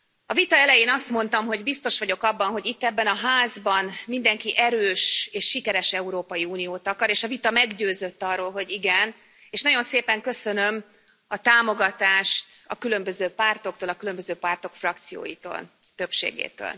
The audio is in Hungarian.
A vita elején azt mondtam, hogy biztos vagyok abban, hogy itt, ebben a házban mindenki erős és sikeres Európai Uniót akar, és a vita meggyőzött arról, hogy igen, és nagyon szépen köszönöm a támogatást a különböző pártoktól, a különböző pártok frakcióitól, többségétől.